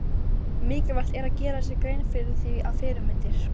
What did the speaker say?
Mikilvægt er að gera sér grein fyrir því að fyrirmyndir